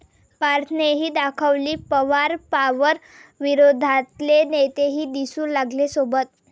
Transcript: पार्थनेही दाखवली पवार पॉवर, विरोधातले नेतेही दिसू लागले सोबत